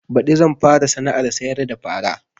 Baɗi zan fara sana'ar sayar da fara